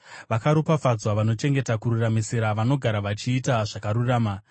Vakaropafadzwa vanochengeta kururamisira, vanogara vachiita zvakarurama.